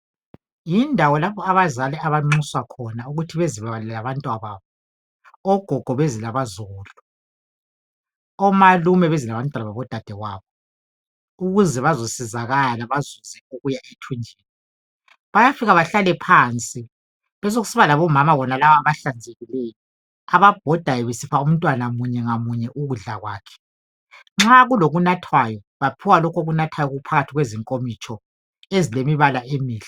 Yindawo lapho abazali abanxuswa khona ukuthi bezokuba labantwana babo ogogo beze labazukulu omalume beze labantwana babo dadewabo ukuze bazosizakala bazuze okuya ethunjini. Bayafika bahlale phansi besokusiba labomama bonalaba abahlanzekileyo ababhodayo besipha umntwana munye ngamunye ukudla kwakhe nxa kulokunathwayo baphiwa lokho okunathwayo okuphakathi kwezinkomitsho ezilemibala emihle.